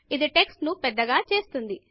ఇది టెక్స్ట్ ను పెద్దగా చేస్తుంది